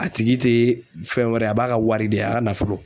A tigi te fɛn wɛrɛ ye a b'a ka wari de ye a ka nafolo.